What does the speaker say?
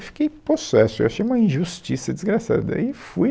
Eu fiquei possesso, eu achei uma injustiça desgraçada, e fui